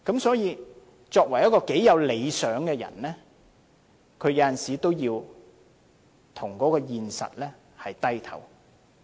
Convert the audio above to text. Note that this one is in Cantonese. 所以，即使一個有理想的人，有時候也要向現實低頭。